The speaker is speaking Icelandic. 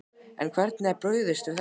En hvernig er brugðist við þessu?